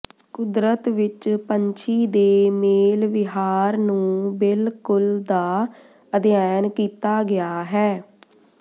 ਕੁਦਰਤ ਵਿਚ ਪੰਛੀ ਦੇ ਮੇਲ ਵਿਹਾਰ ਨੂੰ ਬਿਲਕੁਲ ਦਾ ਅਧਿਐਨ ਕੀਤਾ ਗਿਆ ਹੈ